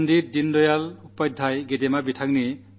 പണ്ഡിറ്റ് ദീനദയാൽ ഉപാധ്യായജിയുടെ ജന്മവാർഷികമാണ്